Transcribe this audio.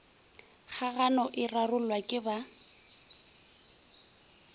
kgagano e rarollwa ke ba